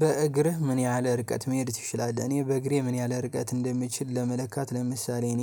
በእግርህ ምን ያህል ርቀት መሄድ ትችላለህ? እኔ በእግሬ ምን ያህል ርቀት እንደምችል ለመለካት ለምሳሌ እኔ